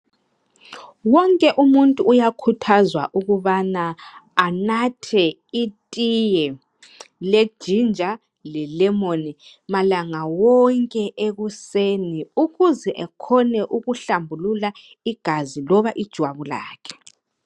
Wonke umuntu uyakhuthazwa ukubana anathe itiye lejinja lelemoni malanga wonke ekuseni ukuze ekhone ukuhlambulula igazi loba ijwabu lakhe.